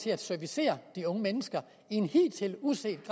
til at servicere de unge mennesker i en hidtil uset